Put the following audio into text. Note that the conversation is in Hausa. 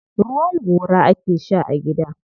Ruwan gora ake sha a gida.